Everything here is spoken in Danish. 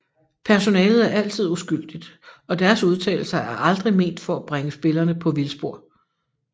Personalet er altid uskyldigt og deres udtalelser er aldrig ment for at bringe spillerne på vildspor